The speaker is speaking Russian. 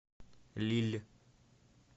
лилль